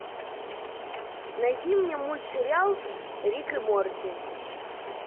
найди мне мультсериал рик и морти